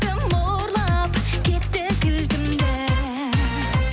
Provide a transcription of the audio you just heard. кім ұрлап кетті кілтімді